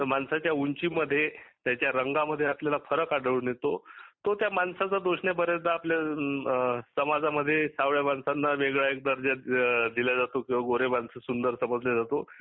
माणसाच्या उंचीमध्ये त्याच्या रंगामध्ये आपल्याला फरक आढळून येतो. तो त्या माणसाचा दोष नाही बऱ्याचदा आपल्याला सताजामध्ये सावळ्या माणसांना वेगळा दर्जा दिला जातो किंवा गोरे माणस सुंदर समजले जातो